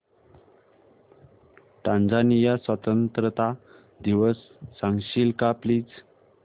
Tanzania स्वतंत्रता दिवस सांगशील का प्लीज